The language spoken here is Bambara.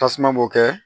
Tasuma m'o kɛ